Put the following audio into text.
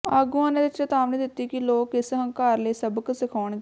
ਆਗੂਆਂ ਨੇ ਚੇਤਾਵਨੀ ਦਿਤੀ ਕਿ ਲੋਕ ਇਸ ਹੰਕਾਰ ਲਈ ਸਬਕ ਸਿਖਾਉਣਗੇ